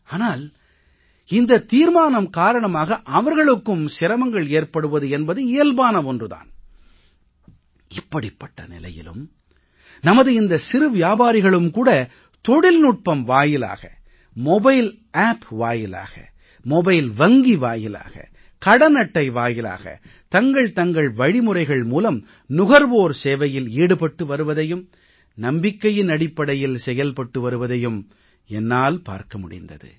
ஆனால் இந்த தீர்மானம் காரணமாக அவர்களுக்கும் சிரமங்கள் ஏற்படுவது என்பது இயல்பான ஒன்று தான் இப்படிப்பட்ட நிலையிலும் நமது இந்த சிறு வியாபாரிகளும் கூட தொழில்நுட்பம் வாயிலாக மொபைல் ஆப் வாயிலாக மொபைல் வங்கி வாயிலாக கடன் அட்டை வாயிலாக தங்கள் தங்கள் வழிமுறைகள் மூலம் நுகர்வோர் சேவையில் ஈடுபட்டு வருவதையும் நம்பிக்கையின் அடிப்படையில் செயல்பட்டு வருவதையும் என்னால் பார்க்க முடிந்தது